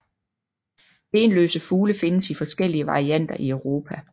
Benløse fugle findes i forskellige varianter i Europa